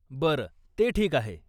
बरं, ते ठीक आहे.